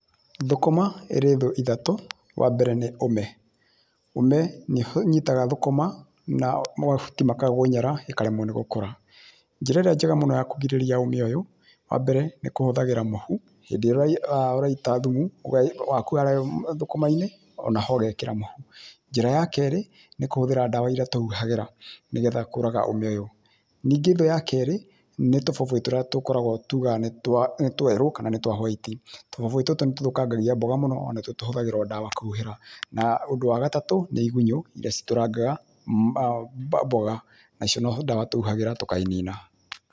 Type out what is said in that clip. Thũkũma ĩrĩ thũ ithatũ, wa mbere nĩ ũme. Ũme nĩ ũnyitaga thũkũma, na mahuti makagũnyara, ĩkaremwo nĩ gũkũra. Njĩra ĩrĩa njega mũno ya kũgirĩrĩria ũme ũyũ, wa mbere, nĩ kũhũthagĩra mũhu, hĩndĩ ĩrĩa ũraita thumu, thũkũma-inĩ o na ho ũgekĩra ma. Njĩra ya kerĩ, nĩ kũhũthĩra ndawa iria tũhuhagĩra nĩ getha kũũraga ũme ũyũ. Ningĩ thũ ya kerĩ, nĩ tũbũbũĩ tũrĩa tũkoragwo tugaga nĩ twerũ kana nĩ twa white. Tũbũbũĩ tũtũ nĩ tũthũkangagia mboga mũno,o na tu tũhũthagĩrwo ndawa kũhuhĩra. Ũndũ wa gatatũ nĩ igunyũ iria citũrangaga mboga nacio no ndawa tũhuhagĩra tũkainina.